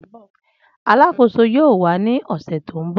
Alakoso yoo wa ni ọsẹ to nbọ